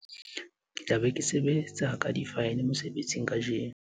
ke tla be ke sebetsa ka difaele mosebetsing kajeno